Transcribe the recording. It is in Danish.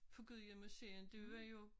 På Gudhjem museum det var jo